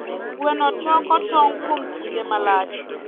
Gweno toko tong kuom kinde malach.